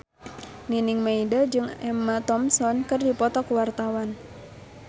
Nining Meida jeung Emma Thompson keur dipoto ku wartawan